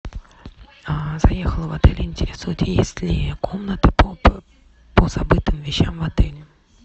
заехала в отель интересует есть ли комната по забытым вещам в отеле